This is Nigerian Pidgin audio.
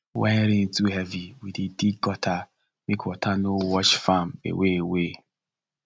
when rain too heavy we dey dig gutter make water no wash farm away away